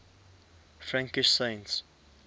frankish saints